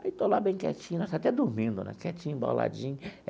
Aí, estou lá bem quietinho, até dormindo né, quietinho, emboladinho.